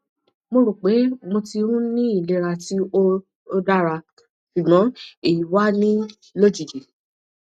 mo ro pé mo ti n ni ilera ti o o dara sugbon eyi wa ni lojiji